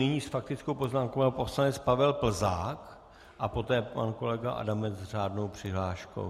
Nyní s faktickou poznámkou pan poslanec Pavel Plzák a poté pan kolega Adamec s řádnou přihláškou.